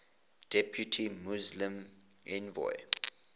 depute muslim envoy